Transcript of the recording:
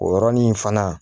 O yɔrɔnin fana